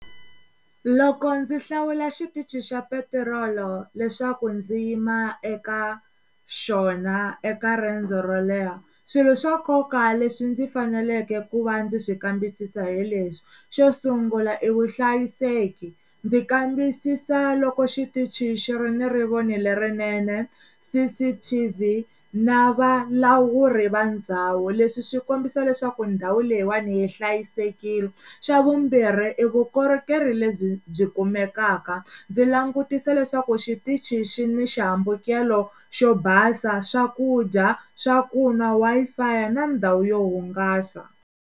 Loko ndzi hlawula xitichi xa petirolo leswaku ndzi yima eka xona eka riendzo ro leha swilo swa nkoka leswi ndzi faneleke ku va ndzi swi kambisisa hi leswi xo sungula i vuhlayiseki ndzi kambisisa loko xitichi xi ri ni rivoni lerinene, C_C_T_V na vavulavuri va ndhawu, leswi swi kombisa leswaku ndhawu leyiwani yi hlayisekile, xa vumbirhi i vukorhokeri lebyi byi kumekaka ndzi langutisa leswaku xitichi xini xihambukelo xo basa, swakudya, swakunwa Wi-Fi ya na ndhawu yo hungasa.